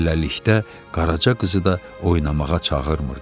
Beləlikdə, Qaraca qızı da oynamağa çağırmırdı.